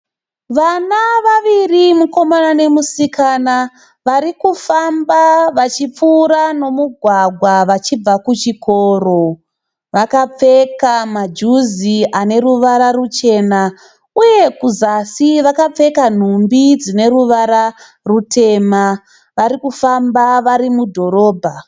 Vana vaviri mukomana nemusikana vari kufamba vachipfuura nomugwagwa vachibva kuchikoro. Vakapfeka majuzi ane ruvara ruchena uye kuzasi vakapfeka nhumbi dzine ruva rutema. Vari kufamba vari mudhorobha.